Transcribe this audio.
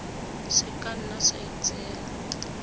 se ka nna sa itseela